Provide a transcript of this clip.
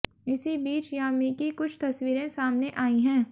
इसी बीच यामी की कुछ तस्वीरें सामने आईं हैं